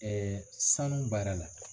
sanu baara la